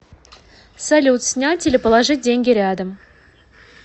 салют снять или положить деньги рядом